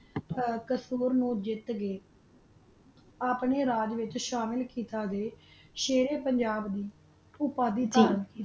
ਹਨ ਕਸੂਰ ਨੂ ਜਿਤ ਗਯਾ ਆਪਨਾ ਰਾਜ ਵਿਤਚ ਸ਼ਾਮਿਲ ਕੀਤਾ ਸਹਾਰਾ ਪੰਜਾਬ ਨੂ ਓਪਾਦੀ ਦਿਤੀ